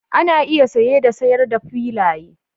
Ana iya saye da sayar da filaye